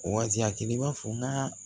Wa kelen i b'a fɔ n ka